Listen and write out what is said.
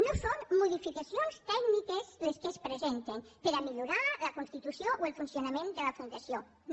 no són modificacions tècniques les que es pre·senten per a millorar la constitució o el funcionament de la fundació no